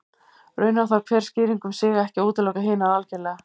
Raunar þarf hver skýring um sig ekki að útiloka hinar algerlega.